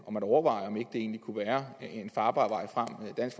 om at overveje om ikke det egentlig kunne være en farbar vej frem dansk